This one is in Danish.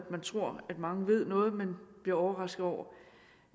at man tror at mange ved noget men bliver overrasket over